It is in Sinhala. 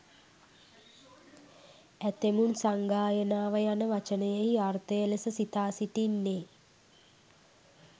ඇතැමුන් සංගායනාව යන වචනයෙහි අර්ථය ලෙස සිතා සිටින්නේ